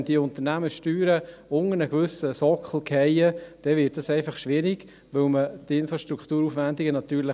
Wenn die Unternehmenssteuern unter einen gewissen Sockel fallen, wird es schwierig, weil man natürlich Infrastrukturaufwendungen hat.